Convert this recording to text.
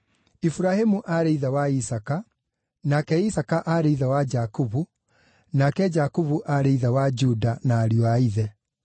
Iburahĩmu aarĩ ithe wa Isaaka, nake Isaaka aarĩ ithe wa Jakubu, nake Jakubu aarĩ ithe wa Juda na ariũ a ithe,